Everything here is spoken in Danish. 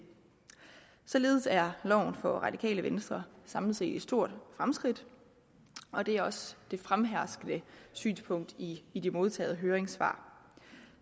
således er loven for radikale venstre samlet set et stort fremskridt og det er også det fremherskende synspunkt i i de modtagede høringssvar